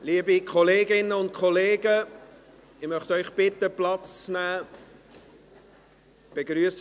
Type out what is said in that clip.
Liebe Kolleginnen und Kollegen, ich möchte Sie bitten, Platz zu nehmen.